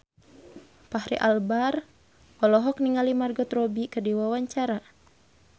Fachri Albar olohok ningali Margot Robbie keur diwawancara